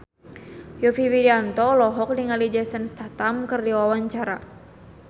Yovie Widianto olohok ningali Jason Statham keur diwawancara